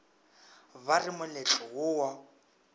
ba re moletlo wo wa